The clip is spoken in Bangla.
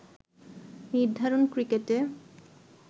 নির্ধারণ ক্রিকেটে